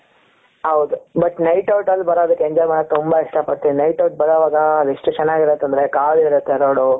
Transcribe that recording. ಹೌದು but night out ಅಲ್ಲಿ ಬರೊದುಕ್ಕೆ enjoy ಮಾಡಕ್ಕೆ ತುಂಬಾ ಇಷ್ಟಪಡ್ತೀನಿ night out ಬರುವಾಗ ಎಷ್ಟು ಚೆನ್ನಾಗಿರುತ್ತೆ ಅಂದ್ರೆ ಖಾಲಿ ಇರುತ್ತೆ road.